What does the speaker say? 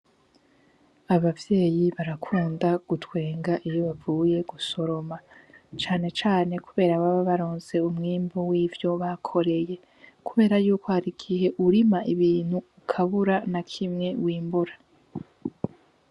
Abavyeyi barakunda gutwenga iyo bavuye gusoroma canecane, kubera ababa baronse umwimbu w'ivyo bakoreye kubera yuko hari igihe urima ibintu ukabura na kimwe w'imbura.